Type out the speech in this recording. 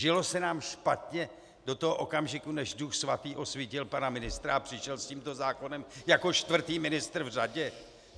Žilo se nám špatně do toho okamžiku, než Duch Svatý osvítil pana ministra a přišel s tímto zákonem jako čtvrtý ministr v řadě?